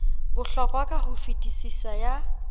bohlokwa ka ho fetisisa ya